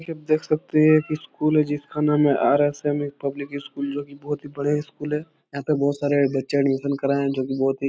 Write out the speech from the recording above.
यह आप देख सखते हैं की एक स्कूल है जिसका नाम है आरएसएम पब्लिक स्कूल जो की बोहोत ही बढियां स्कूल है। यहाँ पर बोहोत ही सारा बच्चा का एडमिशन कराए हैं जो भी बोहोत ही --